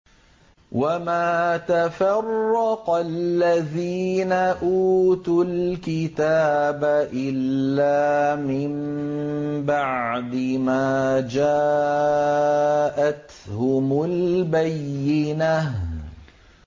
وَمَا تَفَرَّقَ الَّذِينَ أُوتُوا الْكِتَابَ إِلَّا مِن بَعْدِ مَا جَاءَتْهُمُ الْبَيِّنَةُ